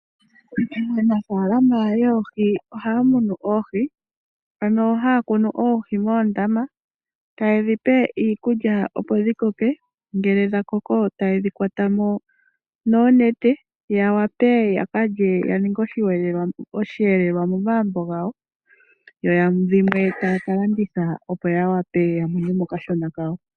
Aanafaalama yoohi ohaya munu oohi moondama etaye dhipe iikulya opo dhikoke ngele dhakoko ohayedhi kwatamo noonete yawape yakalye yaninge osheelelwa momagumbo gawo dho dhimwe taya ka landitha opo yamone mo okashona kawo.